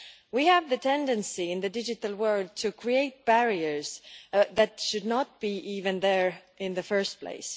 We have the tendency in the digital world to create barriers that should not even be there in the first place.